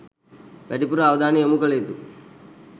වැඩිපුර අවධානය යොමු කළ යුතු